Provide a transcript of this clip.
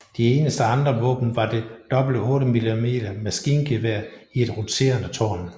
De eneste andre våben var det dobbelte 8mm maskingevær i et roterende tårn